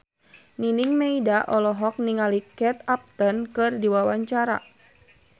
Nining Meida olohok ningali Kate Upton keur diwawancara